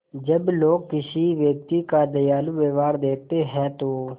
जब लोग किसी व्यक्ति का दयालु व्यवहार देखते हैं तो